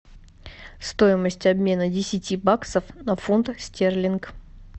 стоимость обмена десяти баксов на фунтах стерлинг